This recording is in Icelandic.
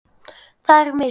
Það eru mistök.